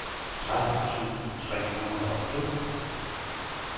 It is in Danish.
tretten tusind tre hundrede og to